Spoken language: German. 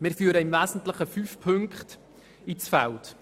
Wir führen im Wesentlichen fünf Punkte ins Feld.